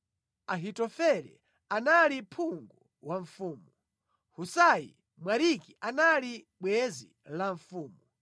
Ahitofele anali phungu wa mfumu. Husai Mwariki anali bwenzi la mfumu.